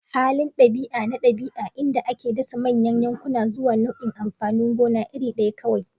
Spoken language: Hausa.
Halin ɗabi'a na ɗabi'a, inda ake dasa manyan yankuna zuwa nau'in amfanin gona iri ɗaya kawai.